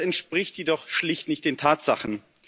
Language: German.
Das entspricht jedoch schlicht nicht den Tatsachen.